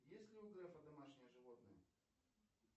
есть ли у грефа домашние животные